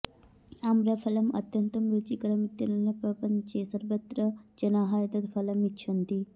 आम्रफलम् अत्यन्तं रुचिकरम् इत्यनेन प्रपञ्चे सर्वत्र जनाः एतद् फलम् इच्छन्ति